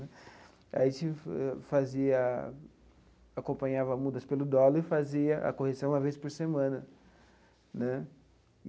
A gente fazia, acompanhava mudança pelo dólar e fazia a correção uma vez por semana né.